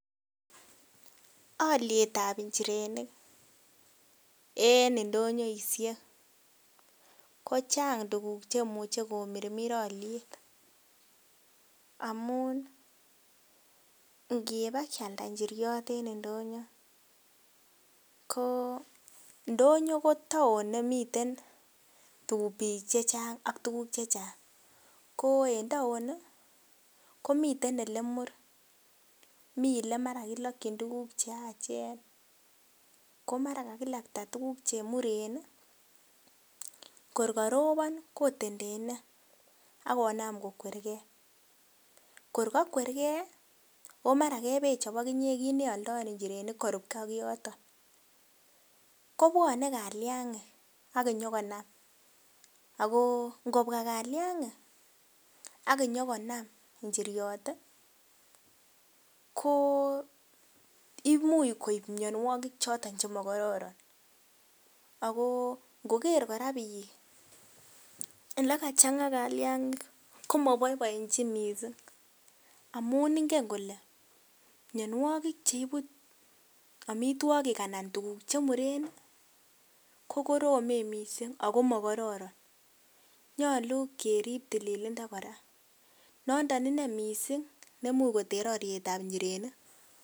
Olietab inchirenik en indonyoishek kochang tuguk cheimuche komirmir oliet, amun ingebakialda inchiriot en indonyo ndonyo ko town nemiten tuguk chechang ak tuguk chechang ko en town komiten olemur mi elemara kilokchin tuguk cheachen komara kakilajta tuguk chemuren ii kor korobon kotendene ak konam kokwer kee, kor kokwer kee oo maran kokebechop okinyee kit neolfoen inchirenik korup kee ak yoto kobwone kaliangik ak inyogonam, ako ingobwa kaliangik ak konyogonam inchiriot ii ko imuch koib mionuokik choton chemokororon ako ingoker koraa bik ele kachanga kaliangik komoboiboechin missing' amun inge kole miondo neibu omitwogik anan tuguk chemuren ii kokoromen missing' ako mokororon nyolu kerib tililindo koraa nondo inee missing' nemuch koter olietab inchirenik.